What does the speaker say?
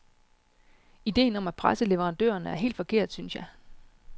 Idéen om at presse leverandørerne er helt forkert, synes jeg.